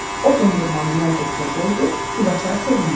O dondurmanı nəlbəkiyə qoydu, Gülaçar sevindi.